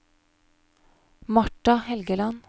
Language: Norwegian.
Marta Helgeland